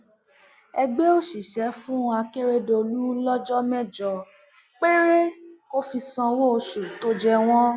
ẹgbẹ òṣìṣẹ fún akérèdólú lọjọ mẹjọ péré kò fi sanwó oṣù tó jẹ wọn